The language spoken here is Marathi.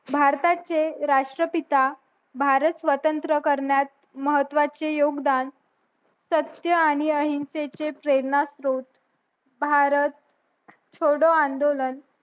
भारताचे राष्ट्र पिता भारत स्वतंत्र करण्यात महत्वाचे योगदान सत्य आणि अहिंसेचे प्रेरणा स्रोत भारत छोडो आंदोलन